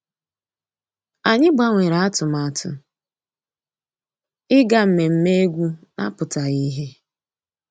Ànyị́ gbànwèré àtụ̀màtụ́ ìgá mmèmè égwu ná-àpụ́tághị́ ìhè.